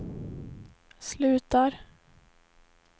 slutar